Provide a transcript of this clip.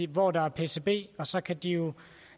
hvor der er pcb og så kan de